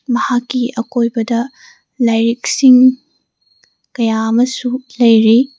ꯃꯍꯥꯛꯀꯤ ꯑꯀꯣꯏꯕꯗ ꯂꯥꯏꯔꯤꯛ ꯁꯤꯡ ꯀꯌꯥ ꯑꯃꯁꯨ ꯂꯩꯔꯤ꯫